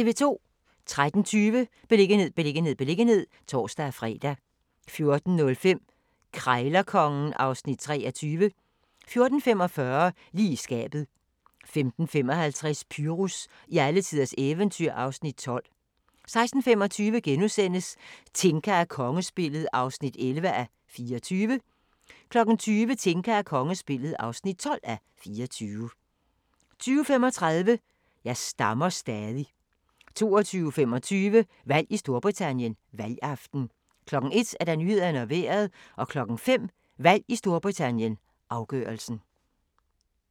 13:20: Beliggenhed, beliggenhed, beliggenhed (tor-fre) 14:05: Krejlerkongen (Afs. 23) 14:45: Lige i skabet 15:55: Pyrus i alletiders eventyr (Afs. 12) 16:25: Tinka og kongespillet (11:24)* 20:00: Tinka og kongespillet (12:24) 20:35: Jeg stammer stadig 22:25: Valg i Storbritannien: Valgaften 01:00: Nyhederne og Vejret 05:00: Valg i Storbritannien: Afgørelsen